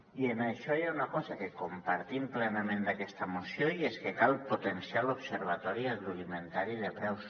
i en això hi ha una cosa que compartim plenament d’aquesta moció i és que cal potenciar l’observatori agroalimentari de preus